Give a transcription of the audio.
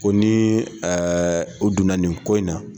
Ko ni ɛɛ u donna nin ko in na